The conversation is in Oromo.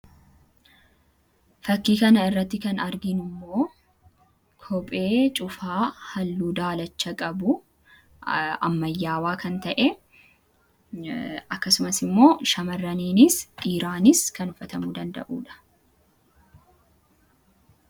fakkii kana irratti kan arginu immoo kophee cufaa halluu daalacha qabu ammayyaawaa kan ta'e akkasumas immoo shamarraniinis dhiiraanis kan uffatamuu danda'uudha.